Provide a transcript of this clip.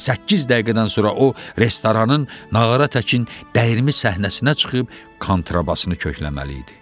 Səkkiz dəqiqədən sonra o restoranın Nağara təkin dəyirmi səhnəsinə çıxıb kontrabasını kökləməli idi.